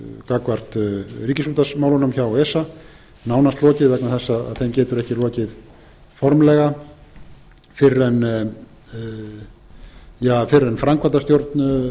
gagnvart ríkisútvarpsmálunum hjá esa nánast lokið vegna þess að þeim getur ekki lokið formlega fyrr en framkvæmdastjórn